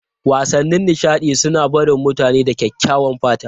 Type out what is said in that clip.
Wasannin nishaɗi suna barin mutane da kyakkyawan fata.